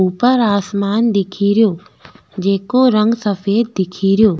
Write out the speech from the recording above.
ऊपर आसमान दिखेरो जेको रंग सफ़ेद दिखेरो।